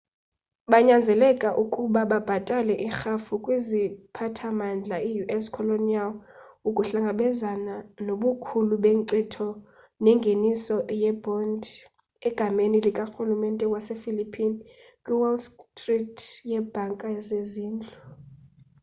banyanzeleka ukuba babhatale irhafu kwiziphathamandla ius colonial ukuhlangabezana nobukhulu benkcitho nengeniso yebhondi egameni likarulumente wasephillipine kwiwall street yebhanka zezindlu